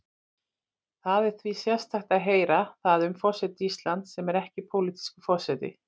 Það er því sérstakt að heyra það um forseta Íslands, sem er ekki pólitískur forseti.